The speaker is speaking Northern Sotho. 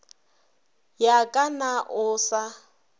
ya ka na o sa